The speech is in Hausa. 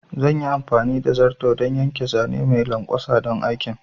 Zan yi amfani da zarto don yanke zane mai lanƙwasa don aikin